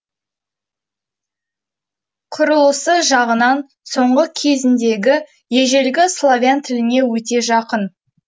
құрылысы жағынан соңғы кезіңдегі ежелгі славян тіліне өте жақын